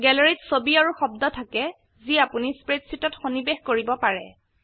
gallery ত ছবি আৰু শব্দ থাকে যি আপোনি স্প্ৰেডশীটত সন্নিবেশ কৰিব পাৰে